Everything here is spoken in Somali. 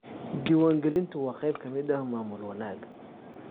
Diiwaangelintu waa qayb ka mid ah maamul wanaagga.